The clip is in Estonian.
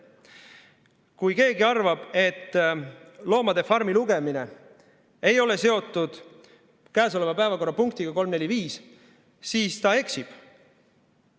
Kui keegi arvab, et "Loomade farmi" lugemine ei ole seotud käesoleva päevakorrapunktiga 345, siis ta eksib.